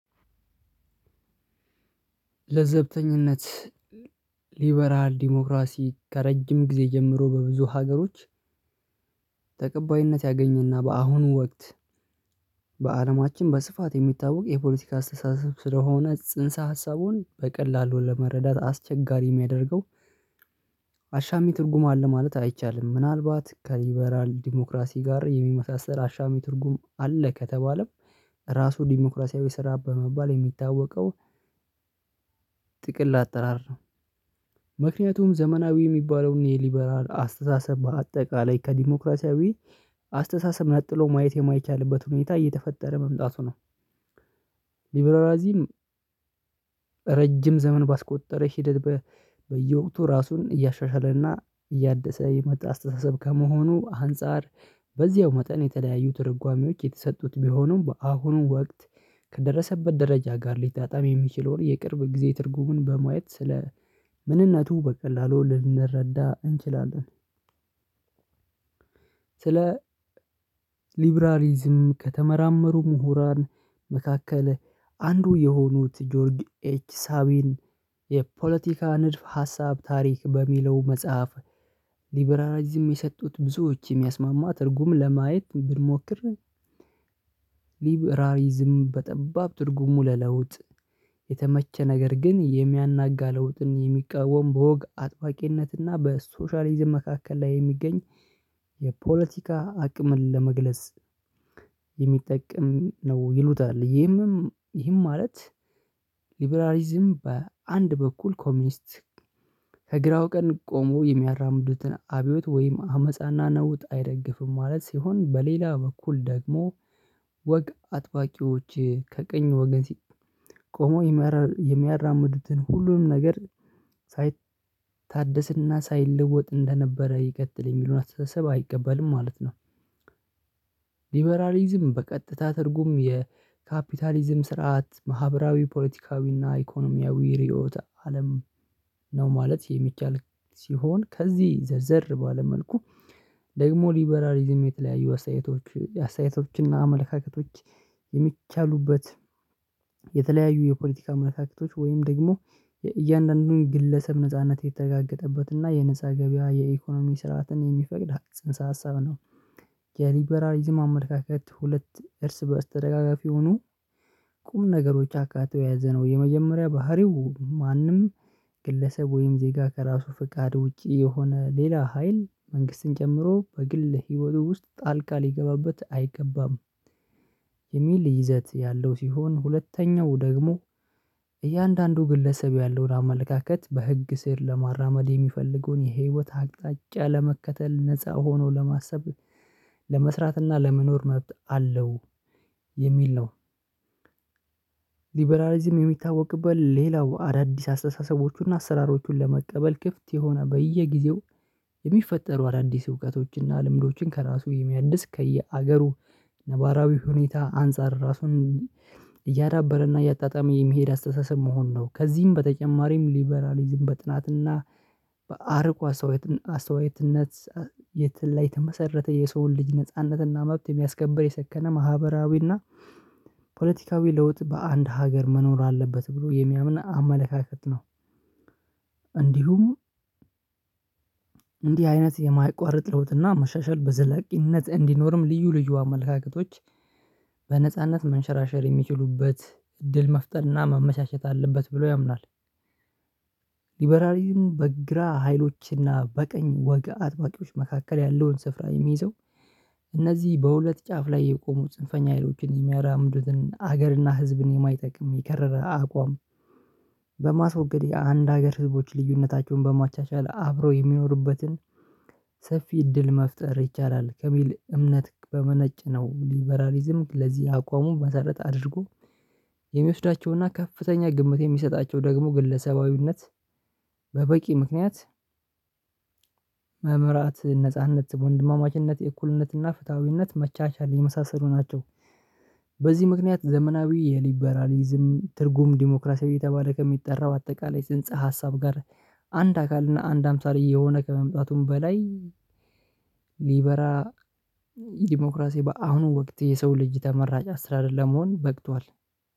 ለዘብተኝነት ሊበራል ዲሞክራሲ ከረጅም ጊዜ ጀምሮ በብዙ ሀገሮች ተቀባይነት ያገኘና በአሁኑ ወቅት። በአለማችን በስፋት የሚታወቅ የፖለቲካ አስተሳሰብ ስለሆነ ጽንሰ ሀሳቡን በቀላሉ ለመረዳት አስቸጋሪ የሚያደርገው። አሻሚ ትርጉም አለ ማለት አይቻልም ምናልባት ከሊበራል ዲሞክራሲ ጋር የሚመሳሰል አሻሚ ትርጉም አለ ከተባለም ራሱ ዲሞክራሲያዊ ስራ በመባል የሚታወቀው። ጥቅል አጠራር ምክንያቱም ዘመናዊ የሚባለውን የሊበራል አስተሳሰብ በአጠቃላይ ከዲሞክራሲያዊ አስተሳሰብ ነጥሎ ማየት የማይቻልበት ሁኔታ እየተፈጠረ መምጣቱ ነው። ሊበራላዚም ረጅም ዘመን ባስቆጠረ ሂደት በየወቅቱ ራሱን እያሻሻለና እያደሰ የመጣ አስተሳሰብ ከመሆኑ አንፃር በዚያው መጠን የተለያዩ ትርጓሜዎች የተሰጡት ቢሆኑም በአሁኑ ወቅት ከደረሰበት ደረጃ ጋር ሊጣጣም የሚችለውን የቅርብ ጊዜ ትርጉሙን በማየት ስለ ምንነቱ በቀላሉ ልንረዳ እንችላለን። ስለ ሊብራሊዝም ከተመራመሩ ምሁራን መካከል አንዱ የሆኑት ጆርጅ ኤች ሳቢን የፖለቲካ ንድፍ ሀሳብ ታሪክ በሚለው መጽሐፍ ሊበራሊዝም የሰጡት ብዙዎች የሚያስማማ ትርጉም ለማየት ብንሞክር። ሊብራሊዝም በጠባብ ትርጉሙ ለለውጥ የተመቸ ነገር ግን የሚያናጋ ለውጥን የሚቃወም በወግ አጥባቂነትና በሶሻሊዝም መካከል ላይ የሚገኝ የፖለቲካ አቅምን ለመግለጽ የሚጠቅም ነው ይሉታል። ይህም ማለት ሊበራሊዝም በአንድ በኩል ኮሚኒስት ከግራው ቀን ቆሞ የሚያራምዱትን አብዮት ወይም አመጻና ነውጥ አይደግፍም ማለት ሲሆን በሌላ በኩል ደግሞ ወግ አጥባቂዎች ከቀኝ ወገን ሲ ቆሞ የሚያራምዱትን ሁሉንም ነገር ሳይታደስና ሳይለወጥ እንደነበረ ይቀጥል የሚሉን አተሳሰብ አይቀበልም ማለት ነው። ሊበራሊዝም በቀጥታ ትርጉም የካፒታሊዝም ስርዓት ማህበራዊ ፖለቲካዊ እና ኢኮኖሚያዊ ርዕዮተ አለም ነው ማለት የሚቻል ሲሆን ከዚህ ዘርዘር ባለ መልኩ ደግሞ ሊበራሊዝም የተለያዩ አስተያየቶች አስተያየቶችና አመለካከቶች የሚቻሉበት የተለያዩ የፖለቲካ መልእክቶች ወይም ደግሞ እያንዳንዱን ግለሰብ ነጻነት የተረጋገጠበት እና የነፃ ገበያ የኢኮኖሚ ስርዓትን የሚፈቅድ ሀቅ ጽንሰ ሀሳብ ነው። የሊበራሊዝም አመለካከት ሁለት እርስ በስተደጋጋፊ የሆኑ ቁም ነገሮች አካተው የያዘ ነው የመጀመሪያ ባህሪው ማንም ግለሰብ ወይም ዜጋ ከራሱ ፍቃድ ውጪ የሆነ ሌላ ሀይል መንግስትን ጨምሮ በግል ህይወቱ ውስጥ ጣልቃ ሊገባበት አይገባም። የሚል ይዘት ያለው ሲሆን ሁለተኛው ደግሞ እያንዳንዱ ግለሰብ ያለውን አመለካከት በህግ ስር ለማራመድ የሚፈልገውን የህይወት አቅጣጫ ለመከተል ነፃ ሆኖ ለማሰብ ለመስራትና ለመኖር መብት አለው የሚል ነው። ሊበራሊዝም የሚታወቅበት ሌላው አዳዲስ አስተሳሰቦቹና አሰራሮቹን ለመቀበል ክፍት የሆነ በየጊዜው የሚፈጠሩ አዳዲስ እውቀቶችንና ልምዶችን ከራሱ የሚያድስ ከየሀገሩ ነባራዊ ሁኔታ አንፃር ራሱን እያዳበረና እያጣጣመ የመሄድ አስተሳሰብ መሆን ነው። ከዚህም በተጨማሪም ሊበራሊዝም በጥናትና በአርቆ ሰውየት አስተዋየትነት የተመሰረተ የሰውን ልጅ ነጻነትና መብት የሚያስከብር የሰከነ ማህበራዊና ፖለቲካዊ ለውጥ በአንድ ሀገር መኖር አለበት ብሎ የሚያምን አመለካከት ነው። እንዲሁም እንዲህ አይነት የማይቋረጥ ለውጥና መሻሻል በዘለቂነት እንዲኖርም ልዩ ልዩ አመለካከቶች በነጻነት መንሸራሸር የሚችሉበት እድል መፍጠርና መመቻቸት አለበት ብለው ያምናል። ሊበራሊዝሙ በግራ ሀይሎች እና በቀኝ ወግ አጥባቂዎች መካከል ያለውን ስፍራ የሚይዘው እነዚህ በሁለት ጫፍ ላይ የቆሙት ጽንፈኛ ሀይሎችን የሚያራምዱትን ሀገርና ህዝብን የማይጠቅም የከረረ አቋም በማስወገድ የአንድ ሀገር ህዝቦች ልዩነታቸውን በማቻቻል አብረው የሚኖሩበትን ሰፊ እድል መፍጠር ይቻላል። ከሚል እምነት በመነጨነው ሊበራሊዝም ለዚህ አቋሙን መሰረት አድርጎ የሚወስዳቸውና ከፍተኛ ግምት የሚሰጣቸው ደግሞ ግለሰባዊነት። በበቂ ምክንያት መምራት ነጻነት በወንድማማችነት የእኩልነትና ፍትሃዊነት መቻቻል የመሳሰሉ ናቸው። በዚህ ምክንያት ዘመናዊ የሊበራሊዝም ትርጉም ዲሞክራሲያዊ የተባለ ከሚጠራው አጠቃላይ ስንጽ ሀሳብ ጋር አንድ አካል እና አንድ አምሳል እየሆነ ከመምጣቱም በላይ። ሊበራ ዲሞክራሲ በአሁኑ ወቅት የሰው ልጅ ተመራጭ አሰራር መሆን በቅቷል።